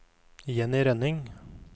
Jenny Rønning